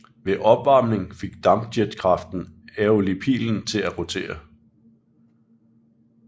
Ved opvarmning fik dampjetkraften aeolipilen til at rotere